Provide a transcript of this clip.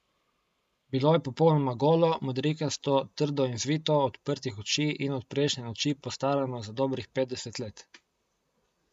Bilo je popolnoma golo, modrikasto, trdo in zvito, odprtih oči in od prejšnje noči postarano za dobrih petdeset let.